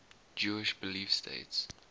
jewish belief states